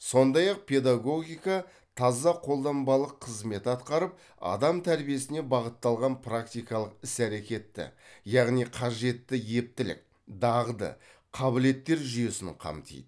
сондай ақ педагогика таза қолданбалық қызмет атқарып адам тәрбиесіне бағытталған практикалық іс әрекетті яғни қажетті ептілік дағды қабілеттер жүйесін қамтиды